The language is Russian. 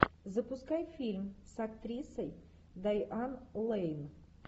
запускай фильм с актрисой дайан лэйн